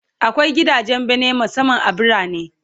Akwai gidajen bene musamman a birane